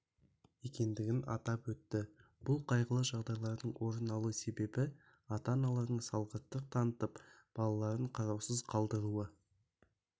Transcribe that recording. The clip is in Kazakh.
екендігін атап өтті бұл қайғылы жағдайлардың орын алу себебі ата-аналардың салғырттық танытып балаларын қараусыз калдыруы